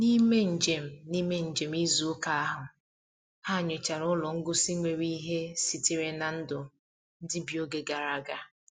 N'ime njem N'ime njem izu ụka ha, ha nyochara ụlọ ngosi nwere ihe sitere na ndụ ndị bi oge gara aga.